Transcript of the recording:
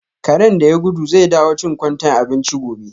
Karen da ya gudu zai dawo chin kwantai abinchi gobe.